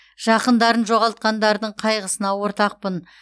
жақындарын жоғалтқандардың қайғысына ортақпын